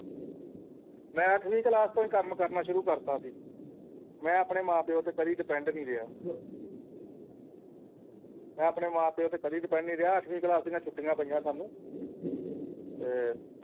ਮੈਂ ਅੱਠਵੀਂ class ਤੋਂ ਹੀ ਕੰਮ ਕਰਨਾ ਸ਼ੁਰੂ ਕਰ ਦਿੱਤਾ ਸੀ ਮੈਂ ਆਪਣੇ ਮਾਂ-ਪਿਓ ਤੇ ਕਦੀ depend ਨਹੀਂ ਗਿਆ ਮੈਂ ਆਪਣੇ ਮਾਂ-ਪਿਓ ਤੇ ਕਦੀ depend ਨਹੀਂ ਗਿਆ ਅੱਠਵੀ ਕਲਾਸ ਦੀਆਂ ਛੁੱਟੀਆਂ ਪਈਆਂ ਸਾਨੂੰ ਤੇ